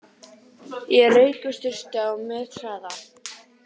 Ég rauk í sturtu á methraða.